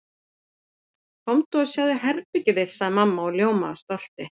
Komdu og sjáðu herbergið þitt sagði mamma og ljómaði af stolti.